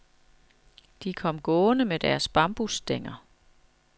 De kom gående med deres bambusstænger.